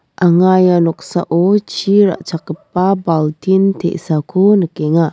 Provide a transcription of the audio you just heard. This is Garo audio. anga ia noksao chi ra·chakgipa baltin te·sako nikenga.